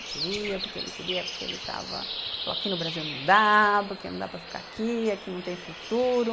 Queria, porque ele queria, porque ele estava, porque aqui no Brasil não dá, porque não dá para ficar aqui, aqui não tem futuro.